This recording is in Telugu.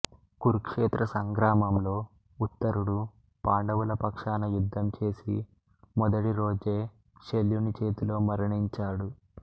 కురుక్షేత్ర సంగ్రామంలో ఉత్తరుడు పాండవుల పక్షాన యుద్ధం చేసి మొదటి రోజే శల్యుని చేతిలో మరణించాడు